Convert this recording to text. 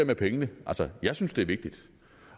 med pengene altså jeg synes det er vigtigt